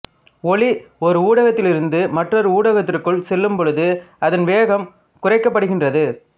ஒளி ஒரு ஊடகத்திலிருந்து மற்றொரு ஊடகத்திற்குள் செல்லும் பொழுது அதன் வேகம் குறைக்கப்படுகின்றது